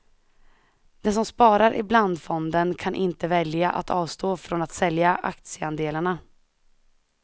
Den som sparar i blandfonden kan inte välja att avstå från att sälja aktieandelarna.